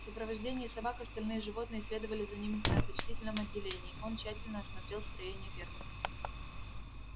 в сопровождении собак остальные животные следовали за ним на почтительном отделении он тщательно осмотрел строения фермы